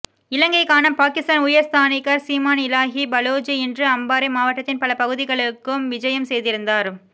இலங்கைக்கான பாகிஸ்தான் உயர் ஸ்தானிகர் சீமா இலாஹி பலோஜ் இன்று அம்பாறை மாவட்டத்தின் பல பகுதிகளுக்கும் விஜயம் செய்திருந்தார்